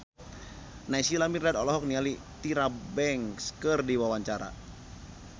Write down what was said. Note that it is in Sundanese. Naysila Mirdad olohok ningali Tyra Banks keur diwawancara